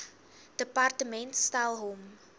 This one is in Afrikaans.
departement stel hom